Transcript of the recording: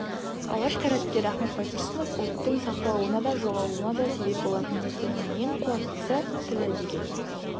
алаш қайраткері ахмет байтұрсынов ұлттың сақталуына да жоғалуына да себеп болатын нәрсенің ең қуаттысы тілі деген